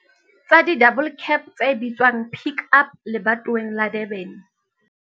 tsa di-double cab tse bitswang Pik Up lebatoweng la Durban.